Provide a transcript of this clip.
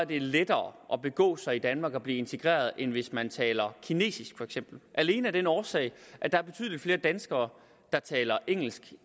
det lettere at begå sig i danmark og blive integreret end hvis man taler kinesisk alene af den årsag at der er betydelig flere danskere der taler engelsk